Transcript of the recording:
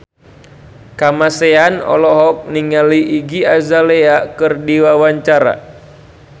Kamasean olohok ningali Iggy Azalea keur diwawancara